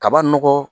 Kaba nɔgɔ